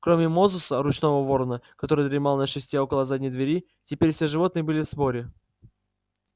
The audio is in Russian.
кроме мозуса ручного ворона который дремал на шесте около задней двери теперь все животные были в сборе